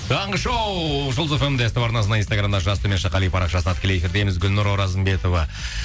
таңғы шоу жұлдыз фм де ств арнасында инстаграмда жас қали парақшасында тікелей эфирдеміз гүлнұр оразымбетова